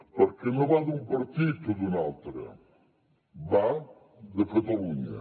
perquè no va d’un partit o d’un altre va de catalunya